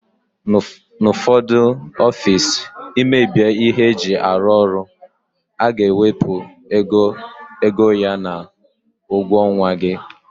N'ufodu ọffici imebie ihe eji arụ ọrụ aga ewepu égo ya n'ugwo onwa gị.